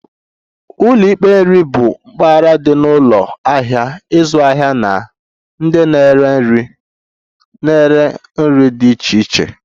Ụlọ ikpe nri bụ mpaghara dị na ụlọ ahịa ịzụ ahịa na ndị na-ere nri na-ere nri dị iche iche